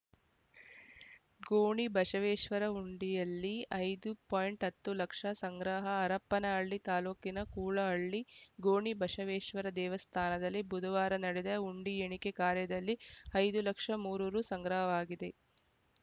ಗೋಣಿಬಸವೇಶ್ವರ ಹುಂಡಿಯಲ್ಲಿ ಐದು ಪಾಯಿಂಟ್ ಹತ್ತು ಲಕ್ಷ ಸಂಗ್ರಹ ಹರಪನಹಳ್ಳಿ ತಾಲೂಕಿನ ಕೂಲಹಳ್ಳಿ ಗೋಣಿಬಶವೇಶ್ವರ ದೇವಸ್ಥಾನದಲ್ಲಿ ಬುಧವಾರ ನಡೆದ ಹುಂಡಿ ಎಣಿಕೆ ಕಾರ್ಯದಲ್ಲಿ ಐದು ಲಕ್ಷ ಮೂರು ರು ಸಂಗ್ರಹವಾಗಿದೆ